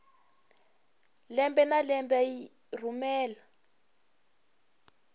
lembe na lembe yi rhumela